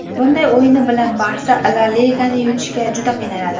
Bunday o‘yini bilan ‘Barsa’ La Ligani yutishga juda qiynaladi”.